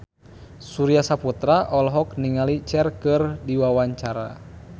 Surya Saputra olohok ningali Cher keur diwawancara